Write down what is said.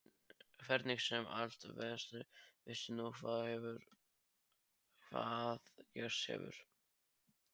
Hvernig sem allt veltist veistu nú hvað gerst hefur.